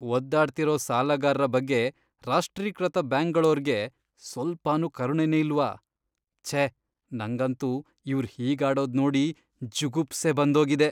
ಒದ್ದಾಡ್ತಿರೋ ಸಾಲಗಾರ್ರ ಬಗ್ಗೆ ರಾಷ್ಟ್ರೀಕೃತ ಬ್ಯಾಂಕ್ಗಳೋರ್ಗೆ ಸ್ವಲ್ಪನೂ ಕರುಣೆನೇ ಇಲ್ವಾ? ಛೇ ನಂಗಂತೂ ಇವ್ರ್ ಹೀಗಾಡೋದ್ ನೋಡಿ ಜುಗುಪ್ಸೆ ಬಂದೋಗಿದೆ.